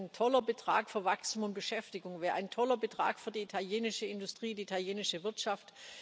wären doch ein toller Betrag für Wachstum und Beschäftigung, wären ein toller Betrag für die italienische Industrie, die italienische Wirtschaft.